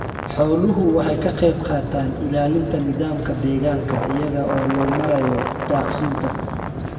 Xooluhu waxay ka qaybqaataan ilaalinta nidaamka deegaanka iyada oo loo marayo daaqsinta.